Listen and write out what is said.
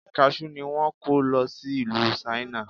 Kaṣú ni wón kọ́ lo sí ìlú Ṣáínà.